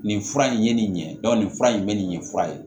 Nin fura in ye nin ɲɛ dɔn nin fura in bɛ nin fura ye